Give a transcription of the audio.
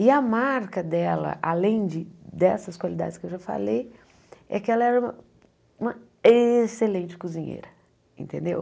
E a marca dela, além de dessas qualidades que eu já falei, é que ela era uma uma excelente cozinheira, entendeu?